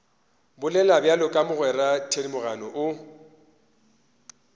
bolela bjalo mogwera thedimogane o